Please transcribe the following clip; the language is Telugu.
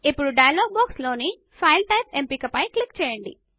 ఇప్పుడు డయలాగ్ బాక్స్ లోని ఫైల్ టైప్ ఎంపిక పైన క్లిక్ చేయండి